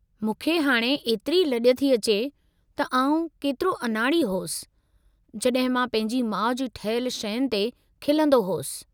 मूंखे हाणे एतिरी लॼ थी अचे त आऊं केतिरो अनाड़ी होसि जॾहिं मां पंहिंजी माउ जी ठाहियलु शयुनि ते खिलंदो होसि।